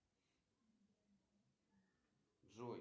сбер посмотреть жар птица